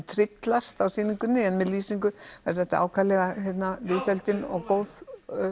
tryllast á sýningunni en með lýsingu verður þetta viðfeldin og góð